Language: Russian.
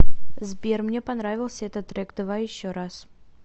сбер мне понравился этот трек давай еще раз